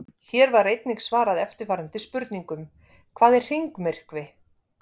Hér var einnig svarað eftirfarandi spurningum: Hvað er hringmyrkvi?